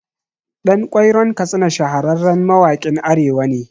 Ɗan Ƙwairon Katsina shahararren mawaƙin Arewa ne